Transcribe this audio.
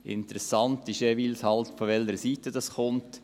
Interessant ist jeweils, von welcher Seite eine solche kommt: